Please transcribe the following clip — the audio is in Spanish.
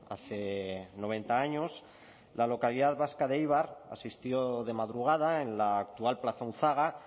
hace noventa años la localidad vasca de éibar asistió de madrugada en la actual plaza unzaga